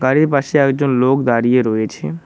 বাড়ির পাশে একজন লোক দাঁড়িয়ে রয়েছে।